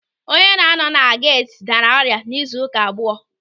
Onye na-anọ na geeti daara ọrịa izu ụka abụọ.